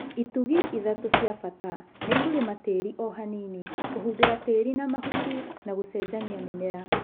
itugĩ ithatũ cia bata nĩ Kũrĩma tĩri ohanini, kũhumbĩra tĩri na mahuti, na gũcenjania mĩmera.